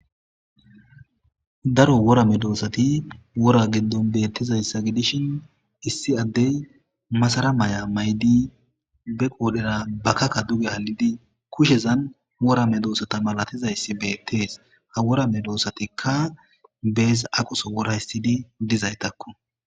Daro wora medosati woraza giddon betizaysa gidishn issi adey Madara Maya mayid be woodhera bakkakka duge halid kushezan wora medosata malatizays betes. Ha wora medosatika besi aqoso wora histid dizaytako.